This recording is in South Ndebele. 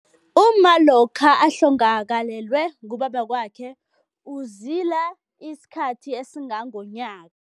Umma lokha ahlongakalelwe ngubaba wakwakhe uzila isikhathi esingangonyaka.